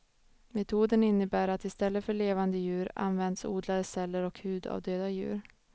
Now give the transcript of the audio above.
Metoden innebär att istället för levande djur används odlade celler och hud av döda djur.